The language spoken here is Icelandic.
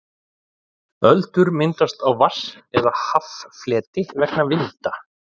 öldur myndast á vatns eða haffleti vegna vinda